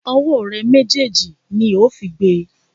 Ọwọ́ rẹ méjèèjì ni ó fi gbe!